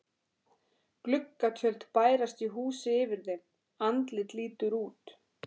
Gluggatjöld bærast í húsi yfir þeim, andlit lítur út.